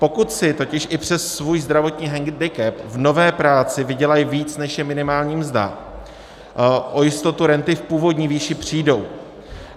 Pokud si totiž i přes svůj zdravotní hendikep v nové práci vydělají víc, než je minimální mzda, o jistotu renty v původní výši přijdou.